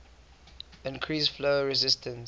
increase flow resistance